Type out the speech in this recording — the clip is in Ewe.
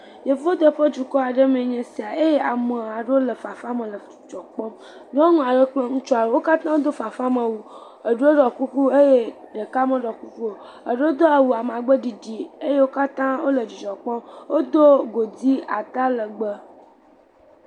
Yevudu ƒe dukɔ me aɖe mee nye sia eye ame aɖewo le fafa me le dzidzɔ kpɔm, nyɔnu aɖe kple ŋutsu aɖewo, wo katã wodo fafamewu, eɖewo ɖɔ kuku eye ɖeka meɖɔ kuku o. eɖwo do awu amagbe ɖiɖi eye wo katã wole dzidzɔ kpɔm. Wodo godi atalegbe.